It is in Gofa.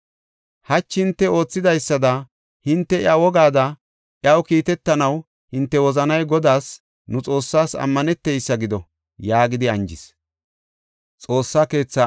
Hachi hinte oothidaysada hinte iya wogaada iyaw kiitetanaw hinte wozanay Godaas, nu Xoossaas ammaneteysa gido” yaagidi anjis.